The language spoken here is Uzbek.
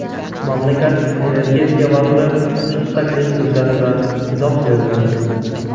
Mamlakat energetika vaziri ushbu taklif yuzasidan izoh berdi.